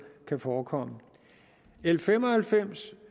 kan forekomme l fem og halvfems